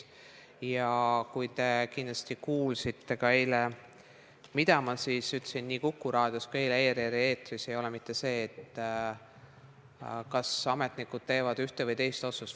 Kindlasti kuulsite eile ka, et see, mida ma ütlesin nii Kuku Raadios kui ka ERR-i eetris, ei ole mitte see, kas ametnikud teevad ühe või teise otsuse.